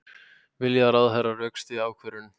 Vilja að ráðherra rökstyðji ákvörðun